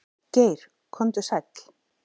Geir komdu sæll.